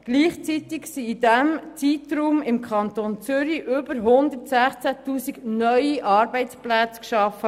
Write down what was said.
Gleichzeitig wurden im Kanton Zürich mehr als 116 000 neue Arbeitsplätze geschaffen.